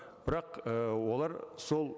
бірақ і олар сол